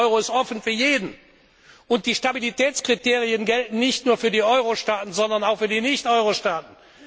Sie haben recht, der Euro ist offen für jeden. Und die Stabilitätskriterien gelten nicht nur für die Eurostaaten, sondern auch für die Nicht Eurostaaten.